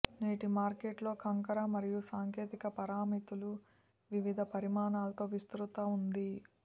నేటి మార్కెట్ లో కంకర మరియు సాంకేతిక పారామితులు వివిధ పరిమాణాలతో విస్తృత ఉంది